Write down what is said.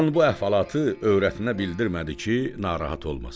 Xan bu əhvalatı övrətinə bildirmədi ki, narahat olmasın.